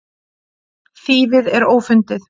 Þýfið er ófundið.